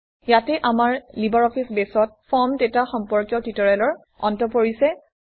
ইয়াতে আমাৰ লিবাৰঅফিছ বেছত ফৰ্ম ডাটা সম্পৰ্কীয় টিউটৰিয়েলৰ অন্ত পৰিছে